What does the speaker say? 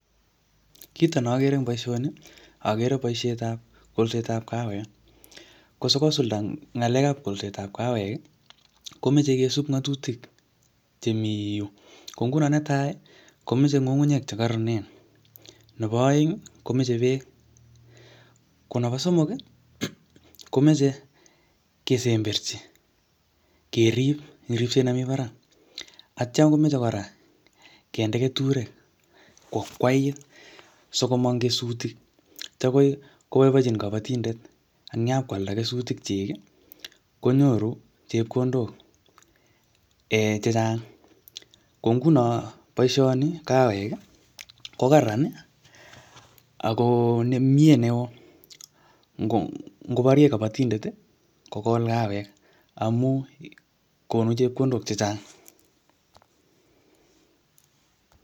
Kito ne agere eng boisoni, agere boisetab kolsetab kawek. Kosikosulda ngalekab kolsetab kawek, komeche kesub ngatutik chemii yu. Ko nguno netai, komeche ng'ung'unyek che kararanen. Nebo aeng, komeche beek. Ko nebo somok, komeche kesemberchi, kerip ing ripset nemii barak. Atya komeche kora kende keturek ko akwait, sikomong kesutik, che koi koboibochin kabatindet. Eng yapkwalda kesutik chik, konyoru chepkondok um chechang. Ko nguno boisoni kawek, ko kararan ako nemie neoo. um Ngoborye kabatindet, kogol kawek amu konu chepkondok chechang